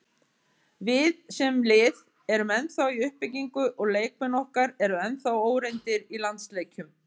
Við, sem lið, erum ennþá í uppbyggingu og leikmenn okkar eru ennþá óreyndir í landsleikjum.